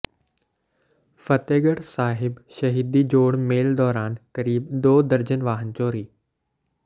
ਫ਼ਤਹਿਗੜ੍ਹ ਸਾਹਿਬ ਸ਼ਹੀਦੀ ਜੋੜ ਮੇਲ ਦੌਰਾਨ ਕਰੀਬ ਦੋ ਦਰਜਨ ਵਾਹਨ ਚੋਰੀ